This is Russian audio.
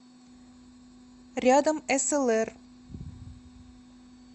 рядом эсэлэр